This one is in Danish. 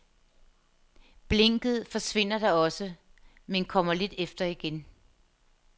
Blinket forsvinder da også, men kommer lidt efter igen.